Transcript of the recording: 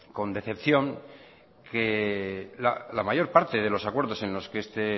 con decepción que la mayor parte de los acuerdos que este